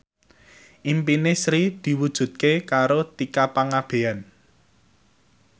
impine Sri diwujudke karo Tika Pangabean